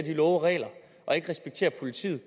love og regler og ikke respekterer politiet